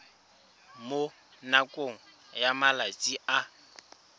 mo nakong ya malatsi a